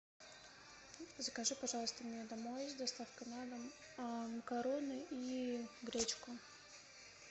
закажи пожалуйста мне домой с доставкой на дом макароны и гречку